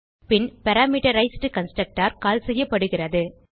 பின் parameterized constructor call செய்யப்படுகிறது